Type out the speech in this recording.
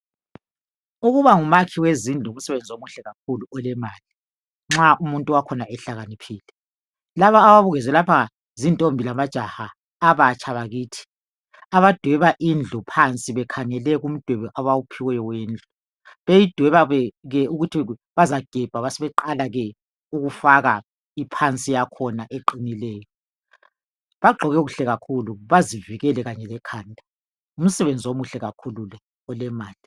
Ukuba ngumakhi wezindlu, ngumsebenzi omuhle kakhulu olemali. Nxa umuntu wakhona ehlakaniphile. Laba ababukezwe lapha, zintombi lamajaha. Abatsha bakithi. Abadweba indlu phansi. Bekhangele kumdwebo abawuphiweyo wendlu. Beyidweba ke, ukuthi bazagebha. Basebeqala ke ukufaka ke iphansi yakhona, eqinileyo. Bagqoke kuhle kakhulu. Bazivikele Kanye lekhanda. Ngumsebenzi omuhle kakhulu lo. Olemali.